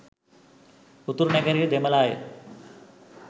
උතුරු නැගෙනහිර දෙමල අය